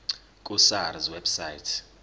ku sars website